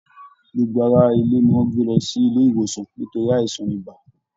Gbogbo ará ilé ni wọn gbé lọ sí ilé ìwòsàn nítorí àìsàn ibà.